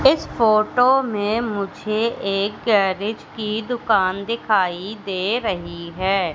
इस फोटो में मुझे एक गैरेज की दुकान दिखाई दे रही हैं।